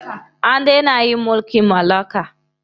An dena yin mulkin mallaka.